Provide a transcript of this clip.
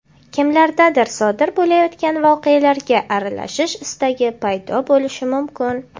Kimlardadir sodir bo‘layotgan voqealarga aralashish istagi paydo bo‘lishi mumkin.